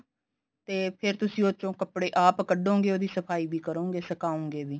ਤੇ ਫੇਰ ਤੁਸੀਂ ਉਸਚੋ ਕੱਪੜੇ ਆਪ ਕੱਡੋਗੇ ਉਹਦੀ ਸਫਾਈ ਵੀ ਕਰੋਗੇ ਸੁਕਾਉਗੇ ਵੀ